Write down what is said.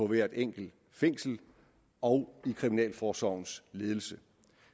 i hvert enkelt fængsel og i kriminalforsorgens ledelse